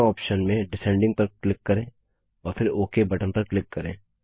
दोनों ऑप्शन में डिसेंडिंग पर क्लिक करें और फिर ओक बटन पर क्लिक करें